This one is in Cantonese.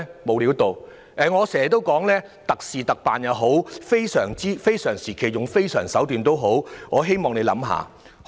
無論是特事特辦也好，是非常時期採用非常手段也好，我希望政府可以考慮。